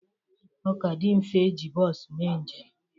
Ọ ka dị mfe e ji bos mee njem